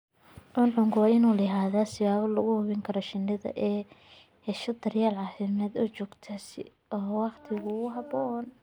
Cuncunku waa inuu lahaadaa siyaabo lagu hubiyo in shinnidu ay hesho daryeel caafimaad oo joogto ah oo waqti ku habboon.